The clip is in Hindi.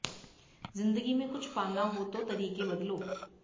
जिंदगी में कुछ पाना हो तो तरीके बदलो